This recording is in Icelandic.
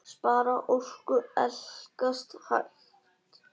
Spara orku. elskast hægt!